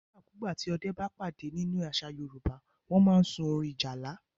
Nígbà ku gbà tí Ọdẹ́ bá pàdé nínú àṣà Yorùbá, wọn a máa sún orin ìjálá.